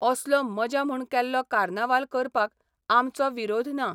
असलो मजा म्हूण केल्लो कार्नावाल करपाक आमचो विरोध ना.